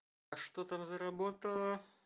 а что там заработала